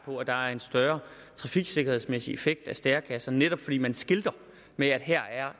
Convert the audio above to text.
på at der er en større trafiksikkerhedsmæssig effekt af stærekasser netop fordi man skilter med at her er